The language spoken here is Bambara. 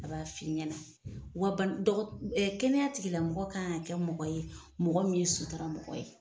A b'a f'i ɲɛnɛ wa bana dɔgɔtɔ ɛ kɛnɛya tigila mɔgɔ kan ka kɛ mɔgɔ ye mɔgɔ min ye sutura mɔgɔ ye